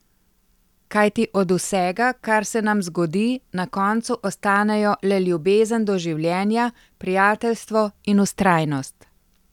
Kajti od vsega, kar se nam zgodi, na koncu ostanejo le ljubezen do življenja, prijateljstvo in vztrajnost.